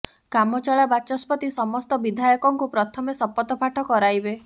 କାମଚଳା ବାଚସ୍ପତି ସମସ୍ତ ବିଧାୟକଙ୍କୁ ପ୍ରଥମେ ଶପଥ ପାଠ କରାଇବେ